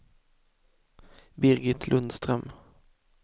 Birgit Lundström